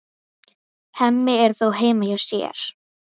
Hemmi er þó heima hjá sér.